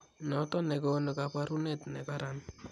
Noton nekoonu kaboruneet nekaran